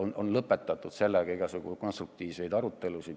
Nii on lõpetatud igasuguseid konstruktiivseid arutelusid.